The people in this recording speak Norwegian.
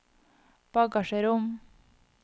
bagasjerom